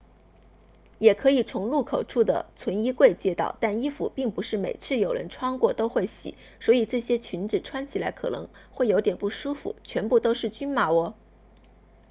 也可以从入口处的存衣柜借到但衣服并不是每次有人穿过后都会洗所以这些裙子穿起来可能会有点不舒服全部都是均码哦